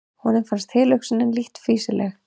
Honum fannst tilhugsunin lítt fýsileg.